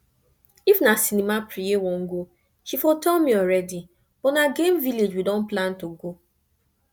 if na cinema preye wan go she for tell me already but na game village we don plan to go